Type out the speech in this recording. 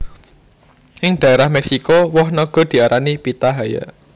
Ing dhaérah Méksiko woh naga diarani Pitahaya